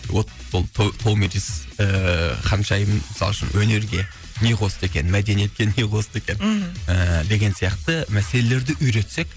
ол томирис ыыы ханшайым мысалы үшін өнерге не қосты екен мәдениетке не қосты екен мхм ы деген сияқты мәселелерді үйретсек